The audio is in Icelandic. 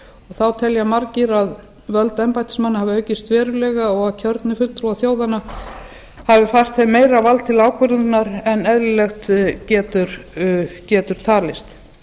þá telja margir að völd embættismanna hafi aukist verulega og kjörnir fulltrúar þjóðanna hafi fært þeim meira vald til ákvörðunar en eðlilegt getur talist